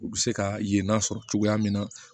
U bɛ se ka ye n'a sɔrɔ cogoya min na